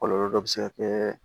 Kɔlɔlɔ dɔ bɛ se ka kɛ